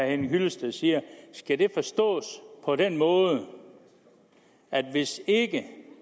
henning hyllested siger forstås på den måde at hvis ikke